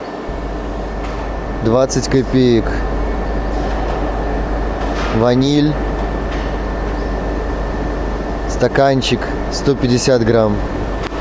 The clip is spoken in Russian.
двадцать копеек ваниль стаканчик сто пятьдесят грамм